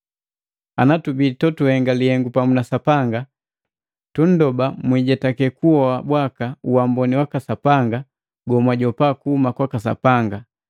Anatubii totuhenga lihengu pamu na Sapanga, tunndoba mwijetake kuhoba bwaka uamboni waka Sapanga gomwajopa kuhuma kwaka Sapanga.